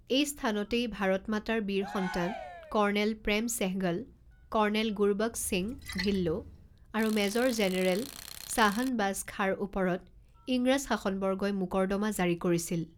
এই স্থানতেই ভাৰত মাতাৰ বীৰ সন্তান কৰ্ণেল প্ৰেম ছেহগল, কৰ্ণেল গুৰবক্স সিং ঢিল্লো আৰু মেজৰ জেনেৰেল শাহনবাজ খাঁৰ ওপৰত ইংৰাজ শাসনবৰ্গই মোকৰ্দমা জাৰি কৰিছিল।